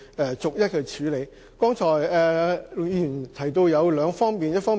陸議員剛才提到兩方面。